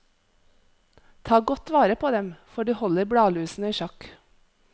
Ta godt vare på dem, for de holder bladlusene i sjakk.